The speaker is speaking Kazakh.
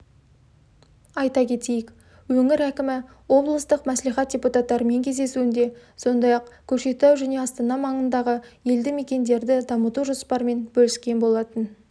айта кетейік өңір әкімі облыстық мәслихат депутаттарымен кездесуінде сондай-ақ көкшетау жне астана маңындағы елді мекендерді дамыту жоспарымен бөліскен болатын